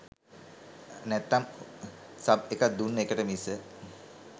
නැත්නම් සබ් එකදුන්න එකට මිස